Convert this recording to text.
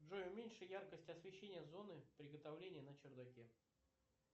джой уменьши яркость освещения зоны приготовления на чердаке